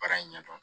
Baara in ɲɛdɔn